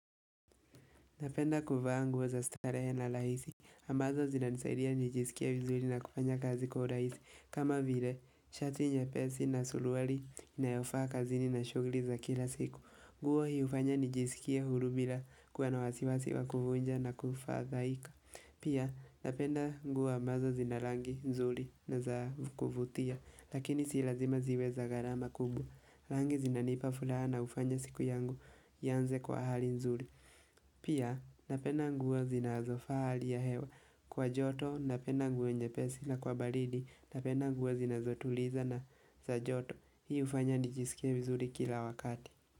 Napenda kuvaa nguo za starehe na rahisi, ambazo zina nisaidia nijisikia vizuli na kufanya kazi kwa rahisi, kama vile, shati nyepesi na suluwali inayofaa kazini na shugli za kila siku. Nguo hi ufanya nijisikie huru bila kuwa na wasiwasi wa kuvunja na kufadhaika. Pia, napenda nguo ambazo zina rangi nzuli na za kuvutia, lakini si lazima ziwe za garama kubwa. Rangi zina nipa furaha na ufanya siku yangu iyanze kwa hali nzuli. Pia napenda nguo zinazofaa hali ya hewa kwa joto napenda nguo nyepesi na kwa balidi napenda nguo zinazotuliza na za joto. Hii ufanya nijisikie vizuri kila wakati.